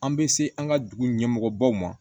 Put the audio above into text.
An bɛ se an ka dugu ɲɛmɔgɔbaw ma